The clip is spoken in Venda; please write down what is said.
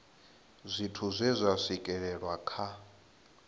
zwithu zwe zwa swikelelwa kha